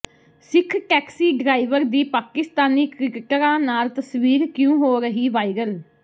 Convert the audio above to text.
ਸਿੱਖ taxi driver ਦੀ ਪਾਕਿਸਤਾਨੀ ਕ੍ਰਿਕਟਰਾਂ ਨਾਲ ਤਸਵੀਰ ਕਿਉਂ ਹੋ ਰਹੀ ਵਾਇਰਲ